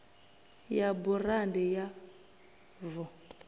ya burandi ya v o